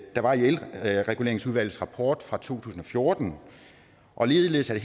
der var i elreguleringsudvalgets rapport fra to tusind og fjorten og ligeledes er